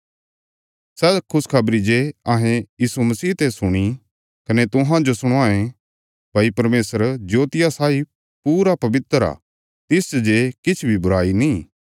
सै खुशखबरी जे अहें यीशु मसीह ते सुणी कने तुहांजो सणवांयें भई परमेशर जोतिया साई पूरा पवित्र आ तिसच जे किछ बी बुराई नीं